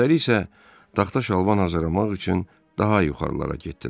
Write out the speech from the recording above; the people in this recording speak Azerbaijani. Özləri isə taxta şalban azlamaq üçün daha yuxarılara getdilər.